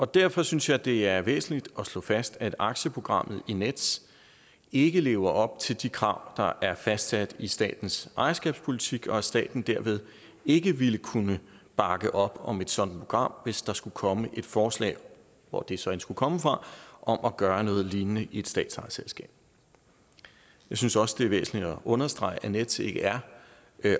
derfor synes jeg det er væsentligt at slå fast at aktieprogrammet i nets ikke lever op til de krav der er fastsat i statens ejerskabspolitik og at staten derved ikke ville kunne bakke op om et sådant program hvis der skulle komme et forslag hvor det så end skulle komme fra om at gøre noget lignende i et statsejet selskab jeg synes også det er væsentligt at understrege at nets ikke er